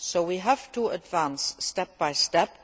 We have to advance step by step.